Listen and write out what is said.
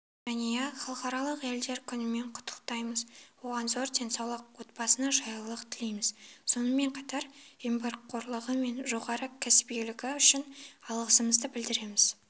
жәния халықаралық әйелдер күнімен құттықтаймыз оған зор денсаулық отбасына жайлылық тілейміз сонымен қатар еңбекқорлылығы мен жоғары кәсібилілігі үшін алғысымызды білдіреміз